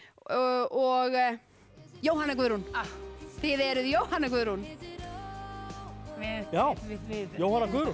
og Jóhanna Guðrún þið eruð Jóhanna Guðrún já Jóhanna Guðrún